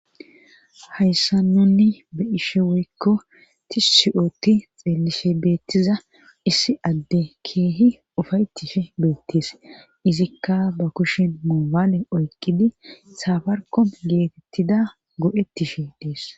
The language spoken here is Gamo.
Hayssa nunni be ishe woykko ti si7ooti xelishe beettiza issi adde keehi ufayettishe beettees izikka ba kushin moobaale oykidi safarkom geetettida go'ettishe dees.